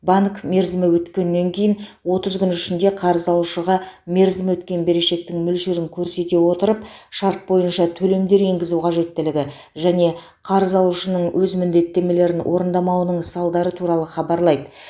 банк мерзімі өткеннен кейін отыз күн ішінде қарыз алушыға мерзімі өткен берешектің мөлшерін көрсете отырып шарт бойынша төлемдер енгізу қажеттілігі және қарыз алушының өз міндеттемелерін орындамауының салдары туралы хабарлайды